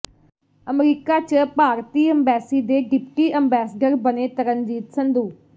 America ਚ ਭਾਰਤੀ embassy ਦੇ ਡਿਪਟੀ ਅੰਬੈਸਡਰ ਬਣੇ ਤਰਨਜੀਤ ਸੰਧੂ